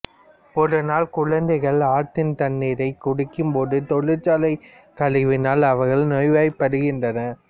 ஒரு நாள் குழந்தைகள் ஆற்றின் தண்ணீரைக் குடிக்கும்போது தொழிற்சாலை கழிவினால் அவர்கள் நோய்வாய்ப்படுகின்றனர்